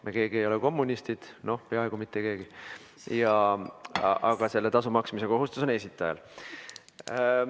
Meist keegi ei ole kommunist – noh, peaaegu mitte keegi –, aga selle tasu maksmise kohustus esitajal on.